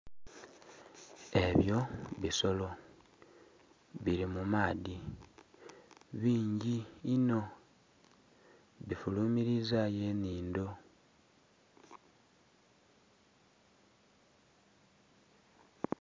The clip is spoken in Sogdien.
Ebyo bisolo biri mumaadhi bingi inho bifulumizayo enhindho.